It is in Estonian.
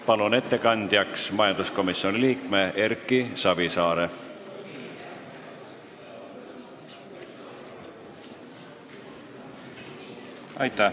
Palun ettekandjaks majanduskomisjoni liikme Erki Savisaare!